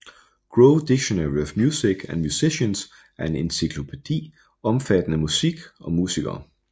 Grove Dictionary of Music and Musicians er en encyklopædi omfattende musik og musikere